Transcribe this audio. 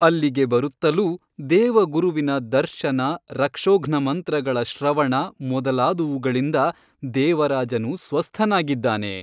ಅಲ್ಲಿಗೆ ಬರುತ್ತಲೂ ದೇವಗುರುವಿನ ದರ್ಶನ ರಕ್ಷೋಘ್ನಮಂತ್ರಗಳ ಶ್ರವಣ ಮೊದಲಾದುವುಗಳಿಂದ ದೇವರಾಜನು ಸ್ವಸ್ಥನಾಗಿದ್ದಾನೆ.